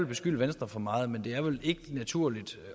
beskylde venstre for meget men det er vel ikke naturligt